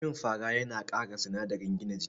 Cin fara yana kara sinadarin gina jiki